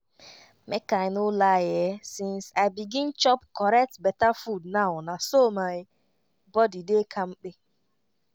make i no lie[um]since i begin chop correct beta food now na so my body dey kampe